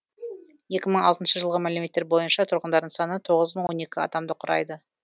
екі мың алтыншы жылғы мәліметтер бойынша тұрғындарының саны тоғыз мың он екі адамды құрайды